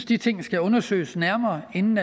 de ting skal undersøges nærmere inden